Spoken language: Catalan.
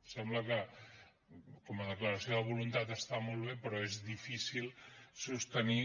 ens sembla que com a declaració de voluntat està molt bé però és difícil sostenir